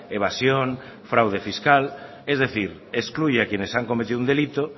evasión fraude fiscal es decir excluye a quienes han cometido un delito